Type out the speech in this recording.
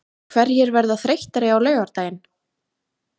Hverjir verða þreyttari á laugardaginn?